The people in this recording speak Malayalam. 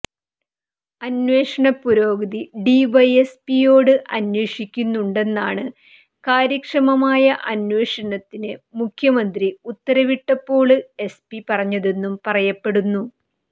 അന്വേഷണ പുരോഗതി ഡി വൈ എസ് പിയോട് അന്വേഷിക്കുന്നുണ്ടെന്നാണ് കാര്യക്ഷമമായ അന്വേഷണത്തിന് മുഖ്യമന്ത്രി ഉത്തരവിട്ടപ്പോള് എസ് പി പറഞ്ഞതെന്നും പറയപ്പെടുന്നു